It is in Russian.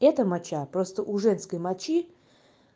это моча просто у женской мочи